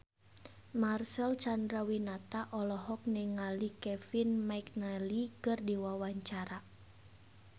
Marcel Chandrawinata olohok ningali Kevin McNally keur diwawancara